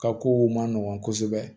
Ka kow man nɔgɔn kosɛbɛ